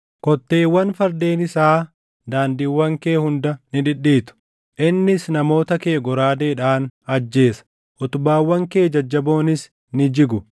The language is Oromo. Kotteewwan fardeen isaa daandiiwwan kee hunda ni dhidhiitu; innis namoota kee goraadeedhaan ajjeesa; utubaawwan kee jajjaboonis ni jigu.